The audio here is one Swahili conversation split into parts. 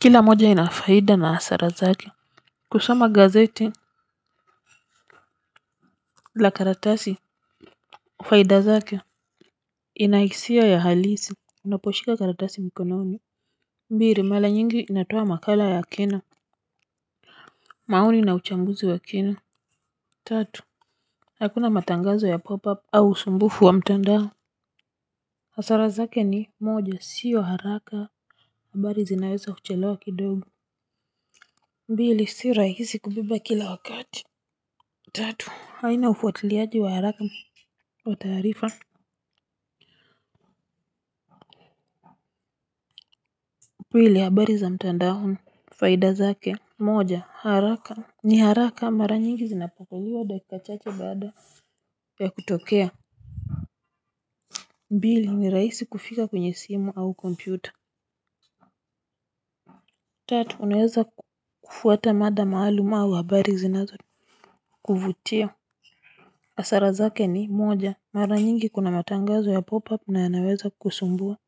Kile moja inafaida na hasara zake kusoma gazeti la karatasi faida zake inahisia ya halisi unaposhika karatasi mikononi mbili mara nyingi inatoa makala ya kena maoni na uchambuzi wa kina tatu hakuna matangazo ya pop up au usumbufu wa mtandao hasara zake ni moja siyo haraka mbali zinaweza kuchelewa kidogo mbili si rahisi kubeba kila wakati tatu haina ufuatiliaji wa haraka wa taarifa. Pili habari za mtandaoni faida zake moja ni haraka mara nyingi zinafunguliwa dakika chache baada ya kutokea pili ni rahisi kufika kwenye simu au kompyuta tatu unaweza kufuata mada maalumu au habari zinazokuvutia hasara zake ni moja mara nyingi kuna matangazo ya pop-up na yanaweza kusumbua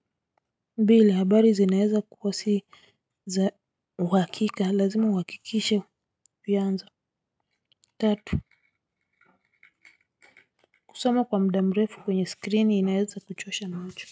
mbili habari zinaweza kuwa si za uhakika lazima uhakikisha vyanzo tatu kusoma kwa muda mrefu kwenye screen inaweza kuchosha macho.